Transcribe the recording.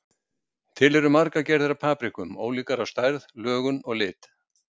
Til eru margar gerðir af paprikum, ólíkar að stærð, lögun og lit.